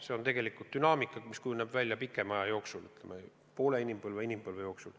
See on tegelikult dünaamika, mis kujuneb välja pikema aja jooksul – poole inimpõlve või inimpõlve jooksul.